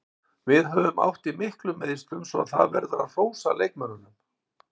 Við höfum átt í miklum meiðslum svo það verður að hrósa leikmönnunum.